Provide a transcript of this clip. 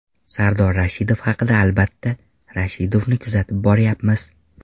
Sardor Rashidov haqida Albatta, Rashidovni kuzatib boryapmiz.